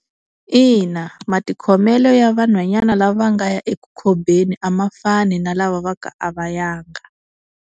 Ina matikhomelo ya vanhwanyana lava nga ya eku khobeni a ma fani na lava va ku a va yanga.